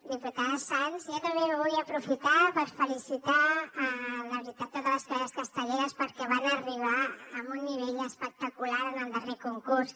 diputada sans jo també vull aprofitar per felicitar la veritat totes les colles castelleres perquè van arribar amb un nivell espectacular en el darrer concurs